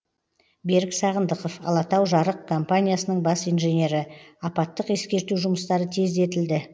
берік сағындықов алатау жарық компаниясының бас инженері апаттық ескерту жұмыстары тездетілді